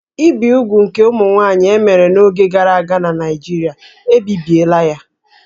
Ibi úgwù nke ụmụ nwanyị e mere n'oge gara aga na Naijiria, ebibiela ya